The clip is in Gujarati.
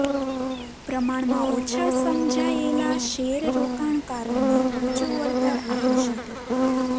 પ્રમાણમાં ઓછા સમજાયેલા શેર રોકાણકારોને ઊંચું વળતર આપી શકે